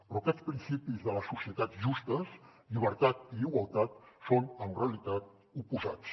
però aquests principis de les societats justes llibertat i igualtat són en realitat oposats